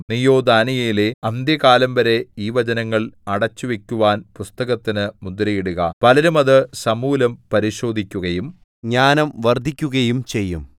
നീയോ ദാനീയേലേ അന്ത്യകാലംവരെ ഈ വചനങ്ങൾ അടച്ചുവെക്കുവാൻ പുസ്തകത്തിന് മുദ്രയിടുക പലരും അത് സമൂലം പരിശോധിക്കുകയും ജ്ഞാനം വർദ്ധിക്കുകയും ചെയ്യും